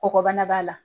Kɔgɔbana b'a la